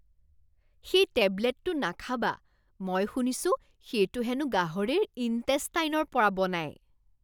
সেই টেবলেটটো নাখাবা। মই শুনিছোঁ সেইটো হেনো গাহৰিৰ ইনটেষ্টাইনৰ পৰা বনায়।